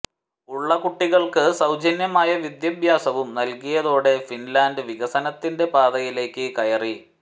ഉള്ള കുട്ടികൾക്ക് സൌജന്യമായ വിദ്യാഭ്യാസവും നൽകിയതോടെ ഫിൻലാൻഡ് വികസനത്തിന്റെ പാതയിലേക്ക് കയറി